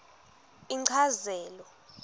inchazelo